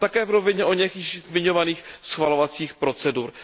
A také v rovině oněch již zmiňovaných schvalovacích procedur.